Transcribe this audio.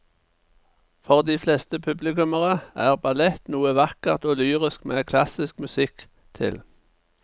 For de fleste publikummere er ballett noe vakkert og lyrisk med klassisk musikk til.